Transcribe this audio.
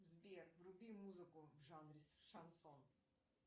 сбер вруби музыку в жанре шансон